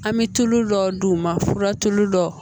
An bɛ tulu dɔ d'u ma fura tulu dɔ